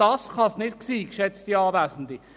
Das kann es nicht sein, geschätzte Anwesende.